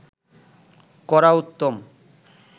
করা উত্তম